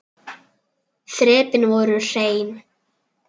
Þrepin voru hrein.